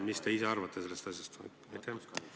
Mis te ise sellest asjast arvate?